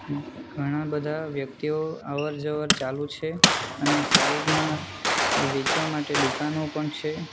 ઘણાં બધા વ્યક્તિઓ અવર-જવર ચાલુ છે અને સાઈડ માં વેચવા માટે દુકાનો પણ છે.